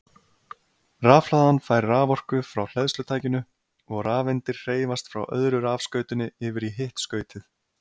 Rafhlaðan fær raforku frá hleðslutækinu og rafeindir hreyfast frá öðru rafskautinu yfir í hitt skautið.